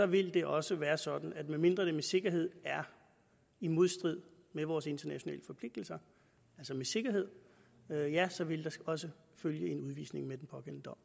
vil det også være sådan at medmindre det med sikkerhed er i modstrid med vores internationale forpligtelser altså med sikkerhed ja så vil der også følge en udvisning med den pågældende dom